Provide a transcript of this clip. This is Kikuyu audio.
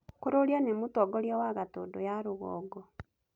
Kururia nĩ mũtongoria wa Gatundu ya rũgongo.